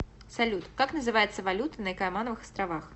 салют как называется валюта на каймановых островах